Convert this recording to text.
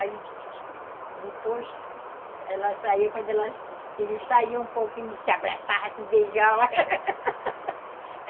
Aí, depois, ela saía, quando eles saíam um pouquinho, se abraçavam, se beijavam.